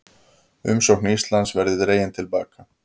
Umsókn Íslands verði dregin til baka